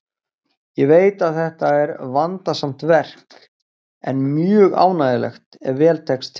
Ég veit að þetta er vandasamt verk, en mjög ánægjulegt ef vel tekst til.